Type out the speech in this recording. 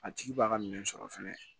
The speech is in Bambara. A tigi b'a ka minɛn sɔrɔ fɛnɛ